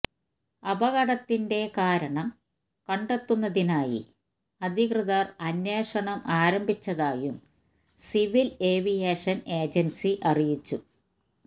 അപകടത്തിന്റെ കാരണം കണ്ടെത്തുന്നതിനായി അധികൃതര് അന്വേഷണം ആരംഭിച്ചതായും സിവില് ഏവിയേഷന് ഏജന്സി അറിയിച്ചു